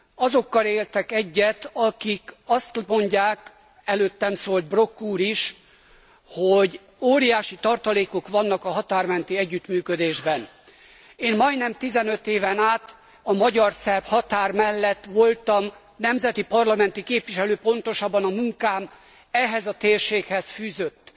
Azokkal értek egyet, akik azt mondják előttem szólt Brok úr is hogy óriási tartalékok vannak a határ menti együttműködésben. Én majdnem 15 éven át a magyar szerb határ mellett voltam nemzeti parlamenti képviselő, pontosabban a munkám ehhez a térséghez fűzött.